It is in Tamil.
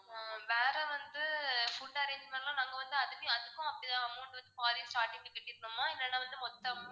ஆஹ் வேற வந்து food arrangement லாம் நாங்க வந்து அதுக்கு~அதுக்கும் அப்படிதான் amount வந்து பாதி starting லயே கட்டிருக்கணுமா இல்லன்னா வந்து மொத்த amount